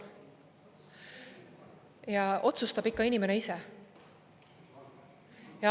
Ja otsustab ikka inimene ise.